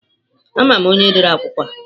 Ama m onye dere akwụkwọ a.